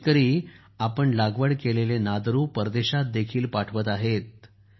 आज हे शेतकरी आपण लागवड केलेले नादरू परदेशात देखील पाठवत आहेत